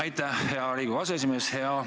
Aitäh, hea Riigikogu aseesimees!